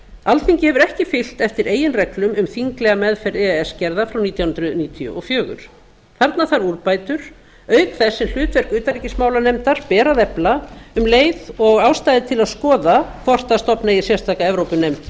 alþingi hefur ekki fylgt eftir eigin reglum um þinglega meðferð e e s gerða frá nítján hundruð níutíu og fjögur þarna þarf úrbætur auk þess sem hlutverk utanríkismálanda ber að efla um leið og ástæða er til að skoða hvort stofna eigi sérstaka evrópunefnd